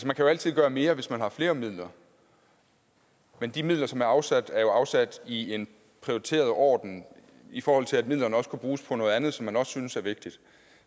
man kan altid gøre mere hvis man har flere midler men de midler som er afsat er jo afsat i en prioriteret orden i forhold til at midlerne også kunne bruges på noget andet som man også synes er vigtigt